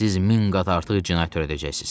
Siz min qat artıq cinayət törədəcəksiz.